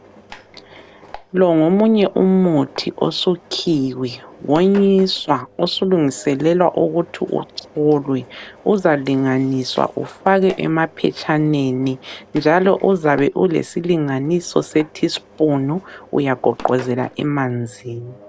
Lo ngomunye umuthi osukhiwe wonyiswa osulungiselelwa ukuthi ucholwe uzalinganiswa ufakwe emaphetshaneni njalo uzabe lesilinganiso se thispunu uyagoqozela emanzini.